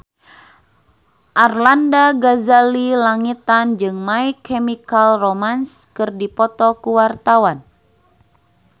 Arlanda Ghazali Langitan jeung My Chemical Romance keur dipoto ku wartawan